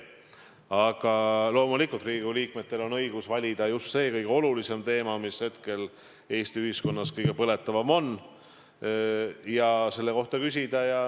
Aga loomulikult Riigikogu liikmetel on õigus valida just see kõige olulisem teema, mis hetkel Eesti ühiskonnas kõige põletavam on, ja selle kohta küsida.